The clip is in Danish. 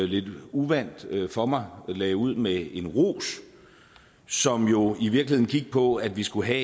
lidt uvant for mig lagde ud med en ros som jo i virkeligheden gik på at vi skulle have